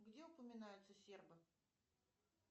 где упоминаются сербы